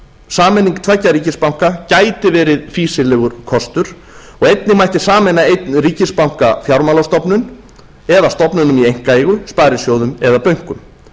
sameining tveggja ríkisbanka gæti verið fýsilegur kostur einnig mætti sameina einn ríkisbanka fjármálastofnun eða stofnunum í einkaeigu sparisjóðum eða bönkum